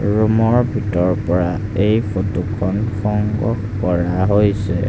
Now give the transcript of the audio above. ৰুমৰ ভিতৰ পৰা এই ফটোখন সংগ্ৰহ কৰা হৈছে।